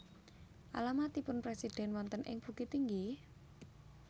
Alamatipun presiden wonten ing Bukittinggi?